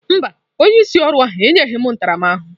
Mba, onye isi ọrụ ahụ enyeghị m ntaramahụhụ.